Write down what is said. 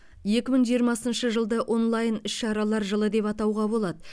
екі мың жиырмасыншы жылды онлайн іс шаралар жылы деп атауға болады